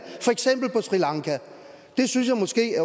for sri lanka det synes jeg måske